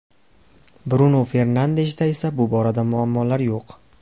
Brunu Fernandeshda esa bu borada muammolar yo‘q.